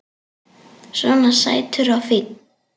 Svona sætur og fínn!